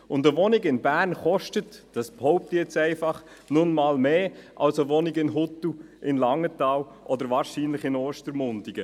Eine Wohnung in Bern – dies behaupte ich – kostet nun mal mehr als eine Wohnung in Huttwil, in Langenthal oder wahrscheinlich in Ostermundigen.